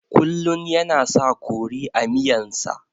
Kullun yana sa kori a miyan sa